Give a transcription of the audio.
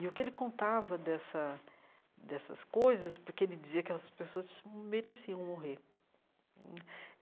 E o que ele contava dessa dessas coisas, porque ele dizia que essas pessoas mereciam morrer hum.